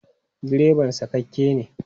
Direban sakakke ne.